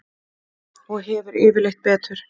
Og hefur yfirleitt betur.